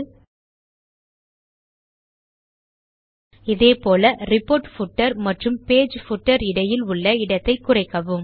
ல்ட்பாசெக்ட் இதே போல் report footer மற்றும் பேஜ் பூட்டர் இடையில் உள்ள இடத்தை குறைக்கவும்